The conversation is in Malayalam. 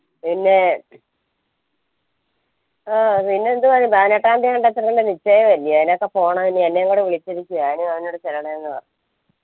പിന്നേ ആ പിന്നെന്തുവാ നിശ്ചയല്ലേ അയിനൊക്കെ പോണം ഇനി എന്നെയും കൂട വിളിച്ചിരിക്കുവാ ഞാനും അവനും കൂടെ ചെല്ലണം പറഞ്ഞ്